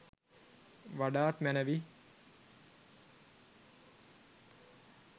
වඩාත් මැනවි.